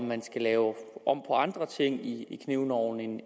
man skal lave om på andre ting i knivloven end